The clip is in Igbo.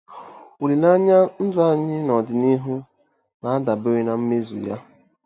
Olileanya ndụ anyị n'ọdịnihu na-adabere ná mmezu ya.